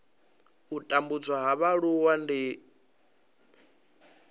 u tambudzwa ha mualuwa ndi